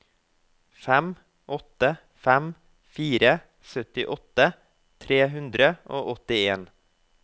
fem åtte fem fire syttiåtte tre hundre og åttien